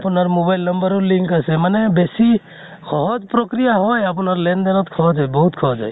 আপোনাৰ mobile number ও link আছে । মানে বেছি সহজ প্ৰক্ৰিয়া হয়, আপোনাৰ লেন দেন ত সহজে, বহুত সহজ হয়।